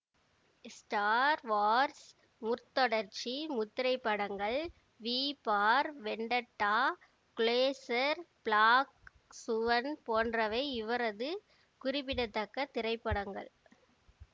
star Wars முற்தொடர்ச்சி முத்திரைப்படங்கள் V for Vendetta Closer Black Swan போன்றவை இவரது குறிப்பிடத்தக்க திரைப்படங்கள்